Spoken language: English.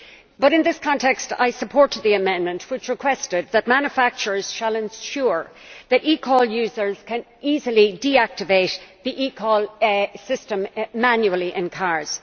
But in this context I support the amendment which requested that manufacturers ensure that eCall users can easily deactivate the eCall system manually in cars.